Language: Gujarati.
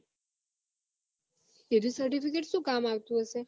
એર્યું certificate શું કામ આવતું હશે